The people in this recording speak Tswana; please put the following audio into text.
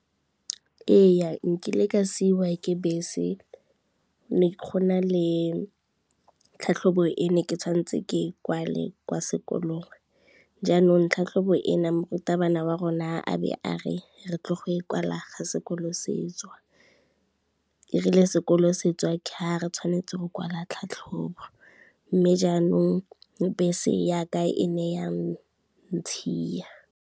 Ee nkile ka siwa ke bese, ne kgona le tlhatlhobo ene ke tshwanetse ke e kwale kwa sekolong, jaanong tlhatlhobo ena morutabana wa rona a be a re, re tlo go e kwala ga sekolo setswa, erile sekolo setswa ke ga re tshwanetse go kwala ditlhatlhobo mme jaanong bese ya ka e ne ya ntshiya.